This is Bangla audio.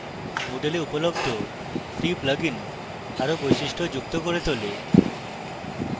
moodle এ উপলব্ধ free plugins the আরো বৈশিষ্ট্যযুক্ত করে তোলে